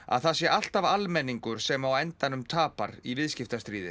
að það sé alltaf almenningur sem á endanum tapar í viðskiptastríði